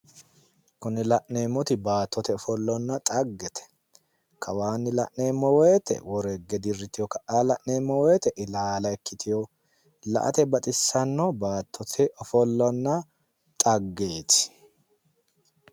Kunne la'neemmoti baattote ofollonna dhaggete kawaanni la'neemmo woyiite woro higge dirriteyo ka'anni la'neemmo la'neemmo woyiite ilaala ikkitino la"ate baxissanno baattonna dhaggeeti.